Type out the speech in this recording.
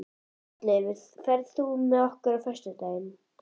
Oddleifur, ferð þú með okkur á föstudaginn?